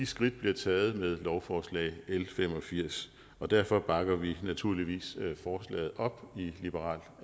skridt bliver taget med lovforslag l fem og firs derfor bakker vi naturligvis forslaget op i liberal